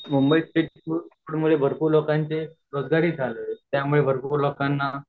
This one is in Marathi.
मुंबईत स्ट्रीटफूड म्हणजे भरपूर लोकांचे रोजगारीचं झाले त्या मुले भरपूर लोकांना